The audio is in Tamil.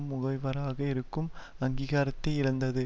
முகவராக இருக்கும் அங்கீகாரத்தை இழந்தது